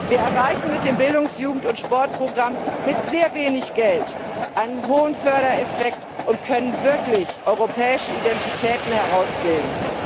Wir erreichen mit dem Bildungs Jugend und Sportprogramm mit sehr wenig Geld einen hohen Fördereffekt und können wirklich europäische Identitäten herausbilden.